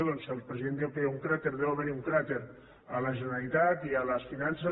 doncs si el president diu que hi ha un cràter deu haver hi un cràter a la generalitat i a les finances